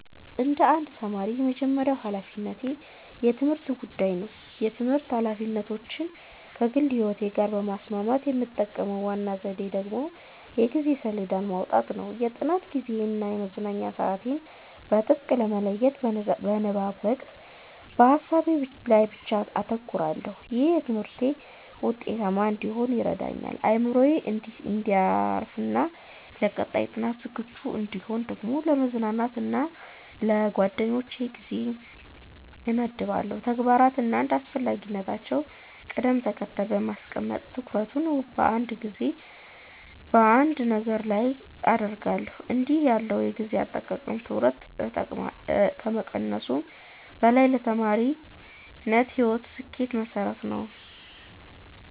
እንደ አንድ ተማሪ፣ የመጀመሪያው ሀላፊነቴ የትምህርቴ ጉዳይ ነው። የትምህርት ኃላፊነቶቼን ከግል ሕይወቴ ጋር ለማስማማት የምጠቀመው ዋናው ዘዴ ደግሞ የጊዜ ሰሌዳ ማውጣት ነው። የጥናት ጊዜዬን እና የመዝናኛ ሰዓቴን በጥብቅ በመለየት፣ በንባብ ወቅት በሀሳቤ ላይ ብቻ አተኩራለሁ። ይህም በትምህርቴ ውጤታማ እንድሆን ይረዳኛል። አእምሮዬ እንዲያርፍና ለቀጣይ ጥናት ዝግጁ እንድሆን ደግሞ ለመዝናናት እና ለጓደኞቼ ጊዜ እመድባለሁ። ተግባራትን እንደ አስፈላጊነታቸው ቅደም ተከተል በማስቀመጥ፣ ትኩረቴን በአንድ ጊዜ በአንድ ነገር ላይ ብቻ አደርጋለሁ። እንዲህ ያለው የጊዜ አጠቃቀም ውጥረትን ከመቀነሱም በላይ ለተማሪነት ሕይወቴ ስኬት መሠረት ነው።